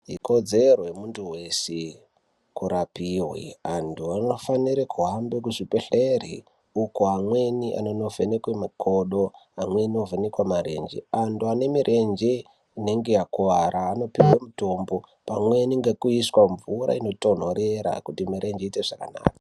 Ikodzero yemundu weshe kurapiwe antu anofanire kuhamba kuzvibhedhleri uko amweni anonovhenekwi makodo amweni ovhenekwe marenje , antu ane mirenje inenge yakuwara anipihwe mitombo pamweni nekuiswa mvura inotonhorera kuti mirenje iite zvakanaka.